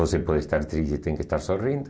Você pode estar triste, tem que estar sorrindo.